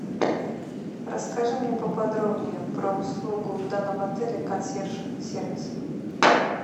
расскажи мне поподробнее про услугу в данном отеле консьерж сервис